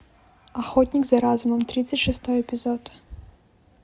охотник за разумом тридцать шестой эпизод